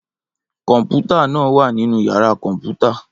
Kọmputa naa wa ninu yara kọnputa